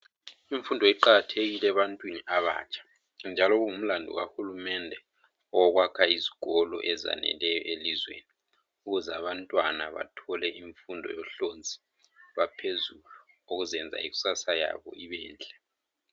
Imfundo iqakathekile ebantwini abatsha njalo kungumlandu kahulumende owokwakha izikolo ezaneleyo elizweni ukuze abantwana bathole imfundo yohlonzi lwaphezulu okuzenza ikusasa yabo ibenhle.